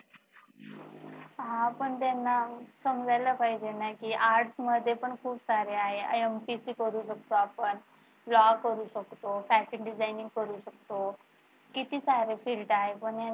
हा पण त्यांना समजायला पाहिजे ना की arts मध्ये पण खूप सारे आहे MPSC करू शकतो आपण law करू शकतो fashion designing करू शकतो किती सारे field आहेत पण